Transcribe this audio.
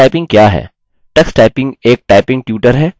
tux typing एक typing tutor है